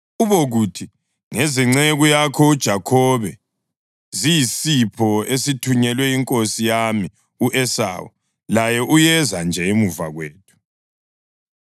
Ubokuthi, ‘Ngezenceku yakho uJakhobe. Ziyisipho esithunyelwe inkosi yami u-Esawu, laye uyeza nje emuva kwethu.’ ”